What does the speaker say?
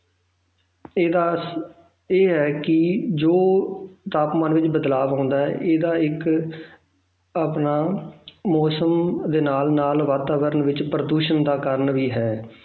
ਇਹਦਾ ਇਹ ਹੈ ਕਿ ਜੋ ਤਾਪਮਾਨ ਵਿੱਚ ਬਦਲਾਵ ਆਉਂਦਾ ਹੈ ਇਹਦਾ ਇੱਕ ਆਪਣਾ ਮੌਸਮ ਦੇ ਨਾਲ ਨਾਲ ਵਾਤਾਵਰਨ ਵਿੱਚ ਪ੍ਰਦੂਸ਼ਣ ਦਾ ਕਾਰਨ ਵੀ ਹੈ